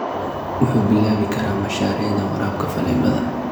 Wuxuu bilaabi karaa mashaariicda waraabka faleebada.